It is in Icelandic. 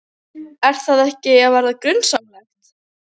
Fer það ekki að verða grunsamlegt?